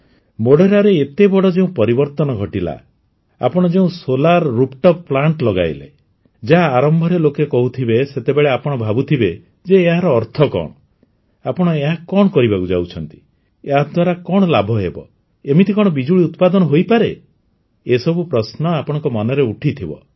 ମୋଢେରାରେ ଏତେ ବଡ଼ ଯେଉଁ ପରିବର୍ତନ ଘଟିଲା ଆପଣ ଯେଉଁ ସୋଲାର ରୁଫ୍ ଟପ୍ ପ୍ଳାଣ୍ଟ ଲଗାଇଲେ ଯାହା ଆରମ୍ଭରେ ଲୋକେ କହୁଥିବେ ସେତେବେଳେ ଆପଣ ଭାବୁଥିବେ ଯେ ଏହାର ଅର୍ଥ କଣ ଆପଣ ଏହା କଣ କରିବାକୁ ଯାଉଛନ୍ତି ଏହାଦ୍ୱାରା କଣ ଲାଭ ହେବ ଏମିତି କଣ ବିଜୁଳି ଉତ୍ପାଦନ ହୋଇପାରେ ଏସବୁ ପ୍ରଶ୍ନ ଆପଣଙ୍କ ମନରେ ଉଠିଥିବ